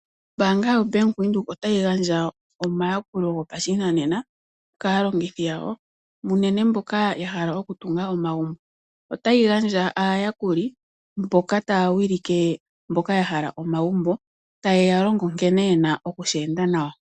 Ombaanga yaVenduka otayi gandja omayakulo gopashinanena kaalongithi yawo unene mboka yahala oku tunga omagumbo . Otayi gandja aayakuli mboka taya wilike mboka yahala omagumbo ,ta yeya longo nkene yena oku shi enda nawa.